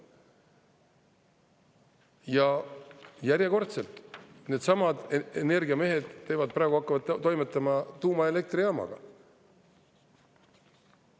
Ja järjekordselt, needsamad energiamehed praegu hakkavad toimetama tuumaelektrijaamaga.